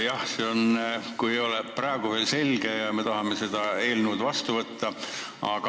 Jah, see ei ole praegu veel selge, aga me tahame selle eelnõu seadusena vastu võtta.